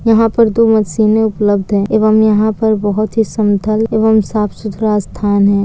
यहाँ पर तो मशीन उपलब्ध है एवं यहां पर बहुत ही समतल एवं साफ सुथरा स्थान है।